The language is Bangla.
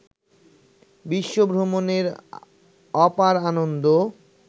বিশ্বভ্রমণের অপার আনন্দ